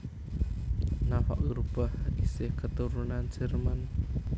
Nafa Urbach isih keturunan Jerman